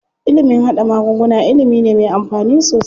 Ilimin haɗa magunguna ilimi ne me amfani sosai.